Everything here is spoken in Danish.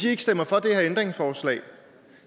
ikke stemmer for det her ændringsforslag